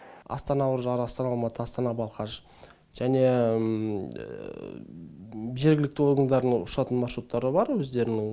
астана үржар астана алматы астана балқаш және жергілікті орындарының ұшатын маршруттары бар өздерінің